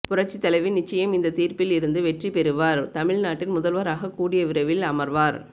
புரட்சி தலைவி நிச்சயம் இந்த தீர்ப்பு வில் இருந்து வெற்றி பெறுவார் தமிழ் நாட்டின் முதல்வராக கூடிய விரைவில் அமர்வார்